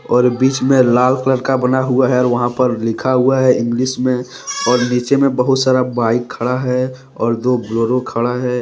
और बीच में लाल कलर का बना हुआ है और वहां पर लिखा हुआ है इंग्लिश में और नीचे में बहुत सारा बाइक खड़ा है और दो बुलोरो खड़ा है ।